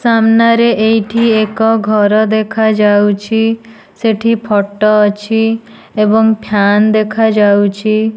ସାମ୍ନାରେ ଏଇଠି ଏକ ଘର ଦେଖାଯାଉଛି ସେଠି ଫଟୋ ଅଛି ଏବଂ ଫ୍ୟାନ୍ ଦେଖାଯାଉଛି।